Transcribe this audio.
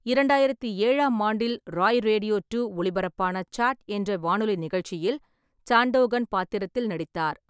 இரண்டாயிரத்தி ஏழாம் ஆண்டில் ராய் ரேடியோ டூ ஒளிபரப்பான 'சாட்' என்ற வானொலி நிகழ்ச்சியில் சாண்டோகன் பாத்திரத்தில் நடித்தார்.